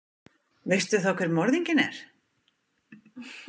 Veistu þá hver morðinginn er?